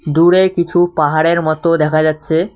দূরে কিছু পাহাড়ের মতো দেখা যাচ্ছে।।